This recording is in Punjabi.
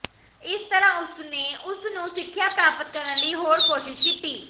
ਇਸ ਤਰ੍ਹਾਂ ਉਸਨੇ ਉਸ ਨੂੰ ਸਿੱਖਿਆ ਪ੍ਰਾਪਤ ਕਰਨ ਲਈ ਹਰ ਕੋਸ਼ਿਸ਼ ਕੀਤੀ